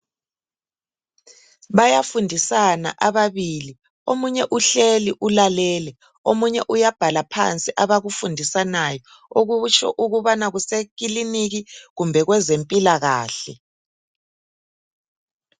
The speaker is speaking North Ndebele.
Bayafundisana ababili omunye uhleli ulalele, omunye uyabhala phansi abakufundisanayo okutsho ukubana kusekiliniki kumbe kwezempilakahle.